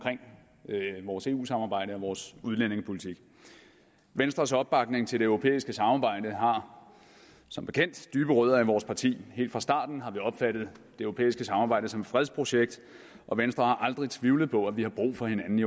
vores eu samarbejde og vores udlændingepolitik venstres opbakning til det europæiske samarbejde har som bekendt dybe rødder i vores parti helt fra starten har vi opfattet det europæiske samarbejde som et fredsprojekt og venstre har aldrig tvivlet på at vi har brug for hinanden i